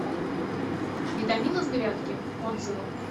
витамины с грядки отзывы